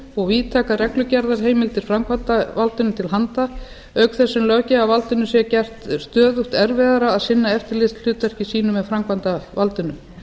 og víðtækar reglugerðarheimildir framkvæmdarvaldinu til handa auk þess sem löggjafarvaldinu sé gert stöðugt erfiðara að sinna eftirlitshlutverki sínu með framkvæmdarvaldinu